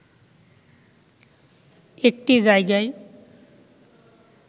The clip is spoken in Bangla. একটি জায়গায়